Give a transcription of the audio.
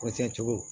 Kɔrɔsɛn cogow